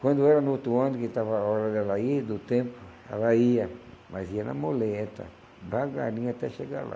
Quando era no outro ano que estava a hora dela ir, do tempo, ela ia, mas ia na muleta, devagarinho até chegar lá.